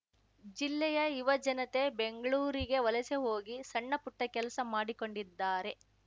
ಜಿಲ್ಲೆಯ ಯುವಜನತೆ ಬೆಂಗ್ಳೂರಿಗೆ ವಲಸೆ ಹೋಗಿ ಸಣ್ಣಪುಟ್ಟ ಕೆಲಸ ಮಾಡಿಕೊಂಡಿದ್ದಾರೆ